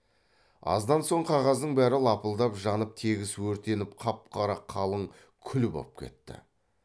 аздан соң қағаздың бәрі лапылдап жанып тегіс өртеніп қап қара қалың күл боп кетті